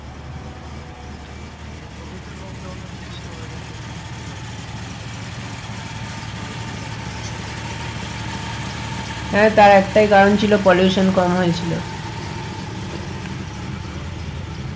এই covid এর lockdown এর সময় weather টা একটু ঠিক হয়েছিল বলতে পারো pollution টা কম হওয়ার ফলে হ্যাঁ তার একটাই কারণ ছিল pollution কম হয়েছিল সেটাই তো ভাবার বিষয়,